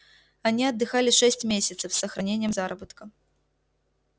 они отдыхали шесть месяцев с сохранением заработка